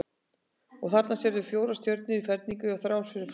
Og þarna sérðu fjórar stjörnur í ferningi og þrjár fyrir framan.